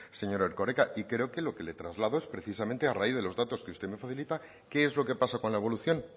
señor erkoreka y creo que lo que le traslado es precisamente a raíz de los datos que usted me facilita qué es lo que pasa con la evolución